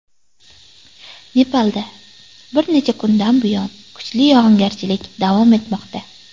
Nepalda bir necha kundan buyon kuchli yog‘ingarchilik davom etmoqda.